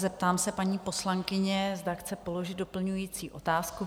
Zeptám se paní poslankyně, zda chce položit doplňující otázku?